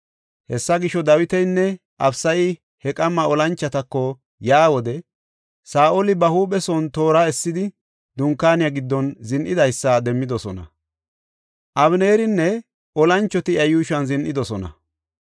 Hessa gisho, Dawitinne Abisayi he qamma olanchotako yaa wode Saa7oli ba huuphe son toora essidi, dunkaaniya giddon zin7idaysa demmidosona. Abeneerinne olanchoti iya yuushuwan zin7idosona.